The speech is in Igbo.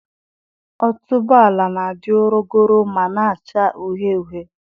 Otubuala na-adị ọrọgọrọ ma na-acha uhie uhie.